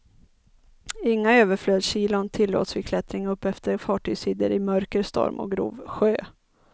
Inga överflödskilon tillåts vid klättring uppefter fartygsidor i mörker, storm och grov sjö.